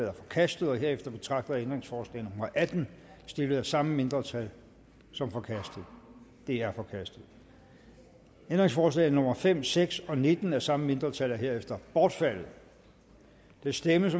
er forkastet herefter betragter jeg ændringsforslag nummer atten stillet af samme mindretal som forkastet det er forkastet ændringsforslag nummer fem seks og nitten af samme mindretal er herefter bortfaldet der stemmes